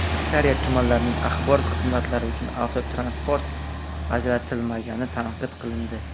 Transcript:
Aksariyat tumanlarning axborot xizmatlari uchun avtotransport ajratilmagani tanqid qilindi.